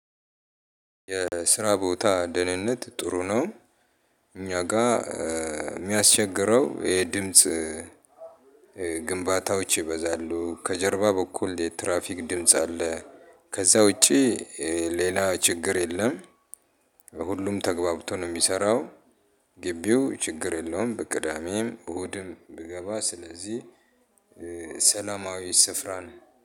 የስራ ቦታ ደህንነት ጥሩ ነው። እኛ ጋር የሚያስቸግረው የድምጽ ግንባታዎች ይበዛሉ ከጀርባ በኩል የትራፊክ ድምጽ አለ። ከዛ ውጪ ሌላ ችግር የለም። ሁሉም ተግባብቶ ነው የሚሰራው። ግቢው ችግር የለውም። በቅዳሜም እሁድም ብገባ ስለዚህ ሰላማዊ ስፍራ ነው።